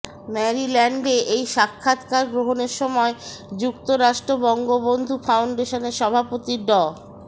ম্যারিল্যান্ডে এই সাক্ষাতকার গ্রহণের সময় যুক্তরাষ্ট্র বঙ্গবন্ধু ফাউন্ডেশনের সভাপতি ড